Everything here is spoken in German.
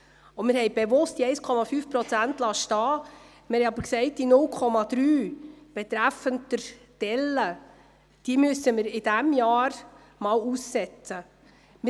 Wir haben bewusst diese 1,5 Prozent stehen lassen, gleichzeitig aber gesagt, dass wir die 0,3 Prozent betreffend der Delle in diesem Jahr aussetzen müssen.